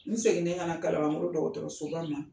N seginni ka na kalabankoro dɔgɔtɔrɔso ba la.